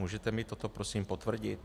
Můžete mi toto prosím potvrdit?